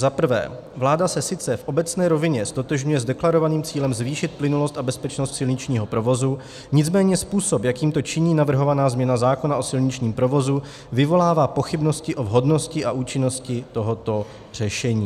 Za prvé, vláda se sice v obecné rovině ztotožňuje s deklarovaným cílem zvýšit plynulost a bezpečnost silničního provozu, nicméně způsob, jakým to činí navrhovaná změna zákona o silničním provozu, vyvolává pochybnosti o vhodnosti a účinnosti tohoto řešení.